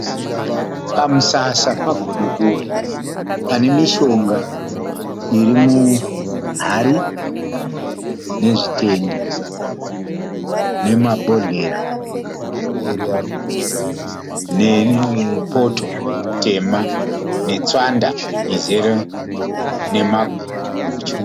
Pamusasa pagodobori pane mishonga iri muhari, nezvitende nemabhozhera nepoto tema netswanda izere nemagutyu.